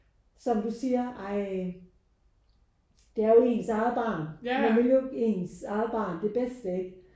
Som du siger ej det er jo ens eget barn. Man vil jo ens eget barn det bedste ikke?